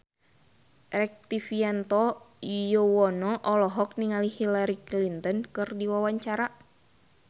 Rektivianto Yoewono olohok ningali Hillary Clinton keur diwawancara